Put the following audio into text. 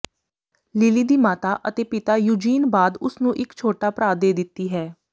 Lily ਦੀ ਮਾਤਾ ਅਤੇ ਪਿਤਾ ਯੂਜੀਨ ਬਾਅਦ ਉਸ ਨੂੰ ਇੱਕ ਛੋਟਾ ਭਰਾ ਦੇ ਦਿੱਤੀ ਹੈ